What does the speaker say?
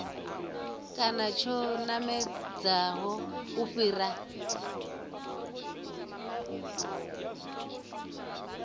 kana tsho namedzaho u fhira